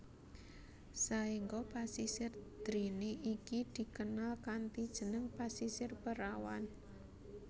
Saengga Pasisir Drini iki dikenal kanthi jeneng Pasisir Perawan